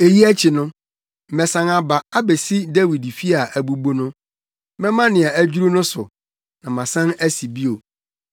“ ‘Eyi akyi no, mɛsan aba abesi Dawid fi a abubu no. Mɛma nea adwiriw no so, na masan asi bio,